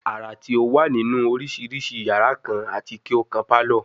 Ara ti o wa ninu oriširiši yara kan ati ki o kan palour